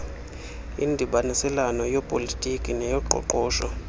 indibaniselwano yepolitiki neyoqoqosho